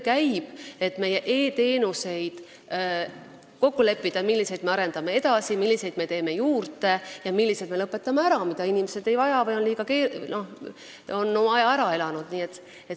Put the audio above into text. Käib töö, et kokku leppida, milliseid e-teenuseid me arendame edasi, milliseid me teeme juurde ja millised me lõpetame ära, sest inimesed neid ei vaja või nad on oma aja ära elanud.